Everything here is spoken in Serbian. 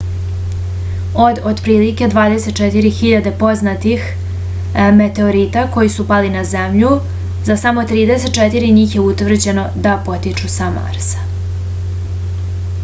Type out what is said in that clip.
od otprilike 24.000 poznatih meteorita koji su pali na zemlju za samo 34 njih je utvrđeno da potiču sa marsa